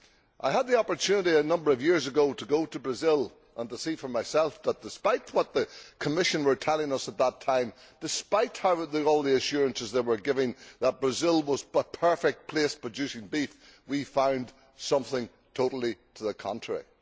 I had the opportunity a number of years ago to go to Brazil and see for myself that, despite what the Commission were telling us at that time despite all the assurances they were giving that Brazil was the perfect place for producing beef we found something totally to the contrary.